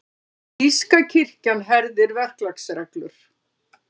Þýska kirkjan herðir verklagsreglur